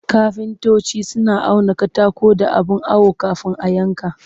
Kafintoci suna auna katako da abin awo kafin a yanka